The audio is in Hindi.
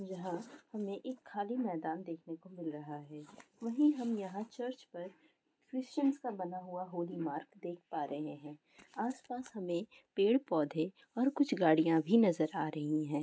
यहाँ हमें एक खाली मैदान दिखने को मिल रहा है यही हम यहाँ चर्च पर कृतियांस का होली मार्क देख पा रहे है आस-पास हमें पेड़-पोदहे और कुछ गाड़ियां भी नज़र आ रही है ।